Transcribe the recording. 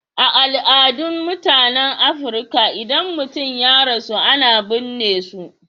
A al'adun mutanen Afrika, idan mutum ya rasu, ana burne su.